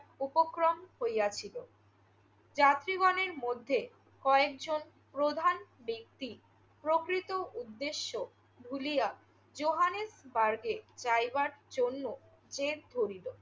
উপক্রম হইয়াছিল। যাত্রীগণের মধ্যে কয়েকজন প্রধান ব্যক্তি প্রকৃত উদ্দেশ্য ভুলিয়া জোহানেবার্গে যাইবার জন্য জেদ করিল।